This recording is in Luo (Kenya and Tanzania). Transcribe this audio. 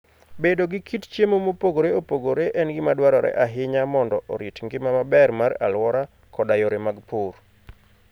Bedo gi kit chiemo mopogore opogore en gima dwarore ahinya mondo orit ngima maber mar alwora koda yore mag pur.